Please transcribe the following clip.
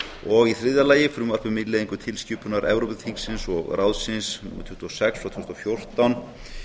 og í þriðja lagi frumvarp um innleiðingu tilskipunar evrópuþingsins og ráðsins númer tuttugu og sex frá tvö þúsund og fjórtán